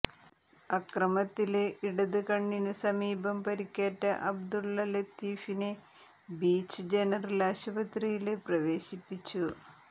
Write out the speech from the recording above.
അക്രമത്തില് ഇടത് കണ്ണിന് സമീപം പരുക്കേറ്റ അബ്ദുള് ലത്വീഫിനെ ബീച്ച് ജനറല് ആശുപത്രിയില് പ്രവേശിപ്പിച്ചു